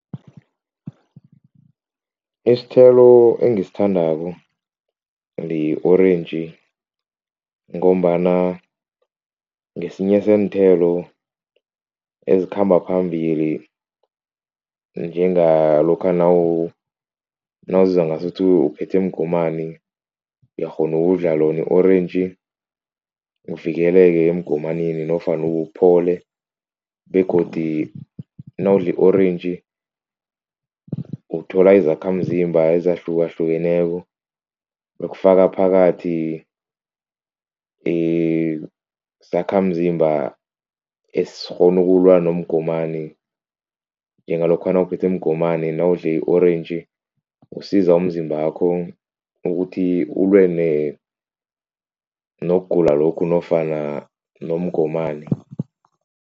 Isithelo engisithandako li-orentji ngombana ngesinye seenthelo ezikhamba phambili njengalokha nawuzizwa ngasuthi uphethwe mgomani uyakghona ukudlala lona i-orentji uvikeleke emgomaneni nofana uphole, begodi nawudle i-orentji uthola izakhamzimba ezahlukahlukeneko ukufaka phakathi isakhamzimba esikghona ukulwa nomgomani njengalokha nawuphethwe mgomani nawudle i-orentji usiza umzimbakho ukuthi ulwe nokugula lokhu nofana nomgomani.